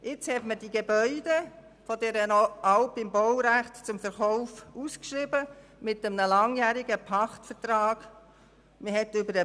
Nun sind aber die Gebäude dieser Alp im Baurecht zum Verkauf mit einem langjährigen Pachtvertrag ausgeschrieben worden.